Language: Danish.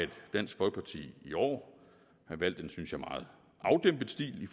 dansk folkeparti i år har valgt en synes jeg meget afdæmpet stil i